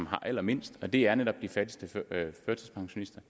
har allermindst og det er netop de fattigste førtidspensionister